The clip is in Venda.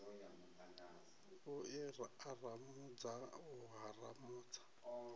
u i aramudza u haramudza